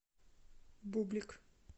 бублик